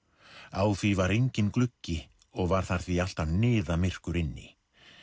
á því var enginn gluggi og var þar því alltaf niðamyrkur inni